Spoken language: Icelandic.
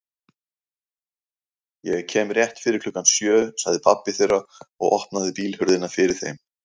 Ég kem rétt fyrir klukkan sjö sagði pabbi þeirra og opnaði bílhurðina fyrir þeim.